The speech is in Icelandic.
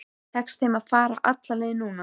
Tekst þeim að fara alla leið núna?